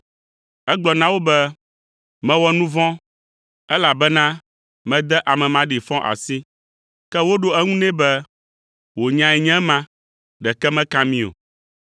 Egblɔ na wo be, “Mewɔ nu vɔ̃, elabena mede ame maɖifɔ asi.” Ke woɖo eŋu nɛ be, “Wò nyae nye ema, ɖeke meka mí o.”